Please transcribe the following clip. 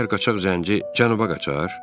Məyər qaçaq zənci cənuba qaçar?